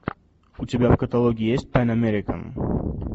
у тебя в каталоге есть пэн американ